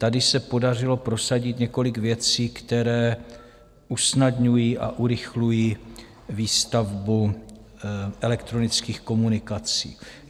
Tady se podařilo prosadit několik věcí, které usnadňují a urychlují výstavbu elektronických komunikací.